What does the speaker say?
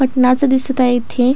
पटनाच दिसत आहे इथे.